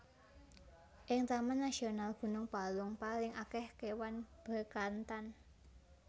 Ing Taman Nasional Gunung Palung paling akeh kewan Bekantan